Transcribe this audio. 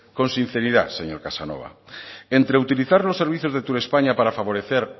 con sinceridad señor casanova entre utilizar los servicios de turespaña para favorecer